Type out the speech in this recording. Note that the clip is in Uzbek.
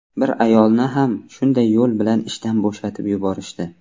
Bir ayolni ham shunday yo‘l bilan ishdan bo‘shatib yuborishdi.